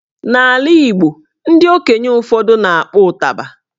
N'ala Igbo ndị okenye ụfọdụ na-akpọ ụtaba